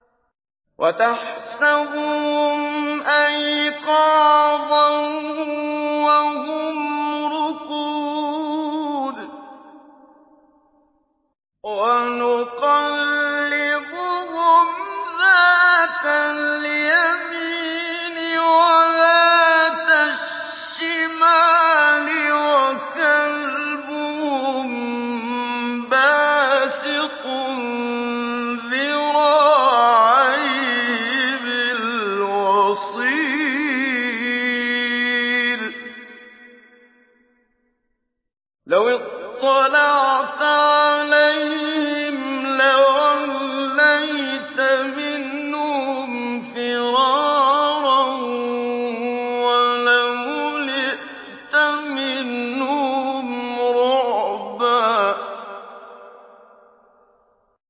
وَتَحْسَبُهُمْ أَيْقَاظًا وَهُمْ رُقُودٌ ۚ وَنُقَلِّبُهُمْ ذَاتَ الْيَمِينِ وَذَاتَ الشِّمَالِ ۖ وَكَلْبُهُم بَاسِطٌ ذِرَاعَيْهِ بِالْوَصِيدِ ۚ لَوِ اطَّلَعْتَ عَلَيْهِمْ لَوَلَّيْتَ مِنْهُمْ فِرَارًا وَلَمُلِئْتَ مِنْهُمْ رُعْبًا